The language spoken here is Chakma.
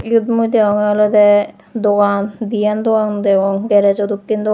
iyot mui degongor olodey dogan deyan dogan degong gresjo dokken degong.